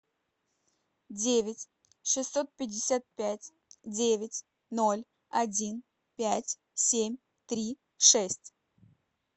девять шестьсот пятьдесят пять девять ноль один пять семь три шесть